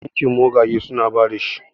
bankin mogage suna ba da shi